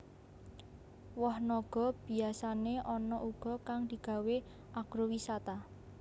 Woh naga biyasané ana uga kang digawé agrowisata